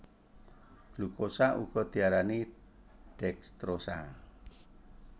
Glukosa uga diarani dekstrosa